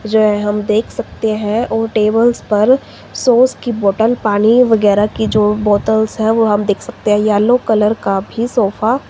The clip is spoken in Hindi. जो है हम देख सकते हैं और टेबल्स पर सॉस की बॉटल पानी वगैरह की जो बोतलस हैं वो हम देख सकते हैं येलो कलर का भी सोफा --